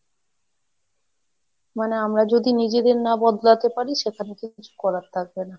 মানে আমরা যদি নিজেদের না বদলাতে পারি সেখানে তো কিছু করার থাকবে না।